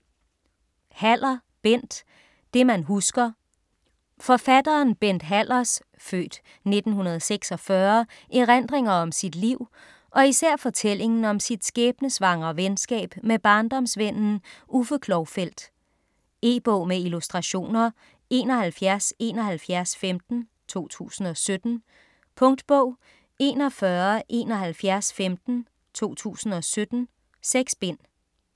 Haller, Bent: Det man husker Forfatteren Bent Hallers (f. 1946) erindringer om sit liv og især fortællingen om sit skæbnesvangre venskab med barndomsvennen Uffe Klovfeldt. E-bog med illustrationer 717115 2017. Punktbog 417115 2017. 6 bind.